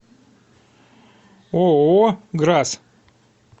ооо грас